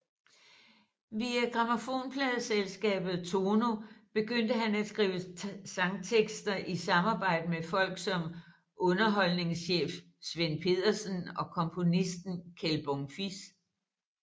Via grammofonpladeselskabet Tono begyndte han at skrive sangtekster i samarbejde med folk som underholdningschef Svend Pedersen og komponisten Kjeld Bonfils